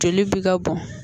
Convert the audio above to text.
Joli bi ka bɔn